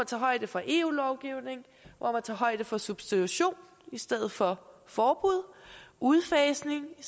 tager højde for eu lovgivning hvor man tager højde for substitution i stedet for forbud og udfasning i